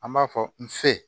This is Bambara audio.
An b'a fɔ n fe